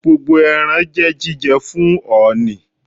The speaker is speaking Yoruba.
Gbogbo ẹran jẹ́ jíjẹ fún ọ̀ọ̀nì.